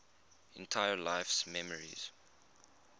entire life's memories